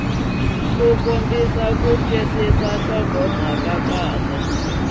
kombisa ku twisisa nhlokomhaka kahle